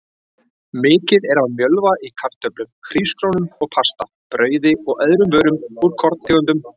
Mikið er af mjölva í kartöflum, hrísgrjónum og pasta, brauði og öðrum vörum úr korntegundum.